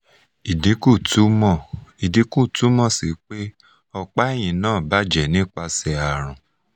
idinku tumọ idinku tumọ si pe opa ehin na baje nipase arun